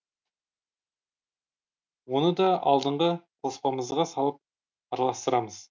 оны да алдыңғы қоспамызға салып араластырамыз